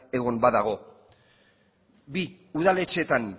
egon badago bi udaletxetan